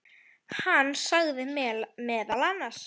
Hann sagði meðal annars